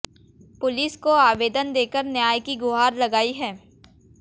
police को आवेदन देकर न्याय की गुहार लगाई है